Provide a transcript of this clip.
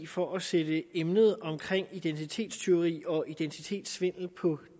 for at sætte emnet om identitetstyveri og identitetssvindel på